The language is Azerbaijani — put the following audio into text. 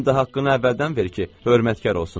həm də haqqını əvvəldən ver ki, hörmətkar olsunlar.